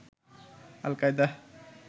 আল কায়দা